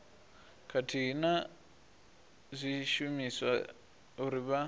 khathihi na zwishumiswa uri vha